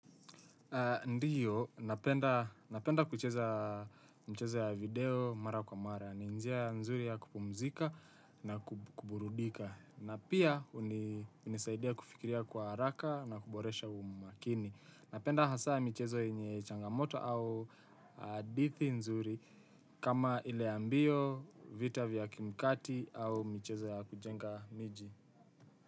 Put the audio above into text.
Ndiyo, napenda kucheza mchezo ya video mara kwa mara. Ni njia mzuri ya kupumzika na kuburudhika. Na pia unisaidia kufikiria kwa haraka na kuboresha umakini. Napenda hasaa mchezo enye changamoto au dithi nzuri kama ile ya mbio, vita vya kimkati au mchezo ya kujenga miji.